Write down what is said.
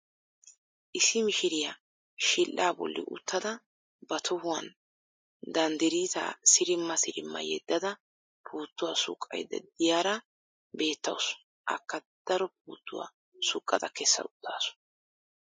Issi mishiriyaa shidhdhaa boolli uttada ba tohuwaan dandiriitaa sirimma sirimma yeeddada puuttuwaa suqqayda de'iyaara beettawus. Akka daro puuttuwaa suqqada kessa uttaasu.